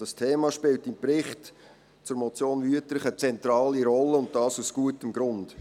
Dieses Thema spielt im Bericht zur Motion Wüthrich eine zentrale Rolle, und dies aus gutem Grund.